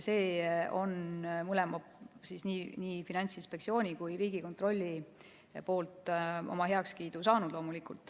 See on mõlemalt, nii Finantsinspektsioonilt kui ka Riigikontrollilt loomulikult heakskiidu saanud.